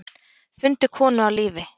Fundu konu á lífi